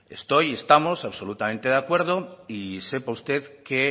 estoy estamos absolutamente de acuerdo y sepa usted que